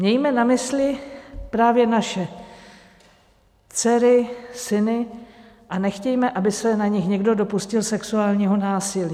Mějme na mysli právě naše dcery, syny a nechtějme, aby se na nich někdo dopustil sexuálního násilí.